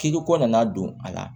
K'i ko nana don a la